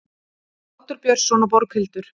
Oddur Björnsson og Borghildur